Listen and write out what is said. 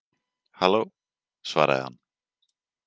Halló, svaraði hann.